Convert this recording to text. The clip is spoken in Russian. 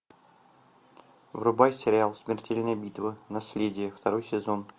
врубай сериал смертельная битва наследие второй сезон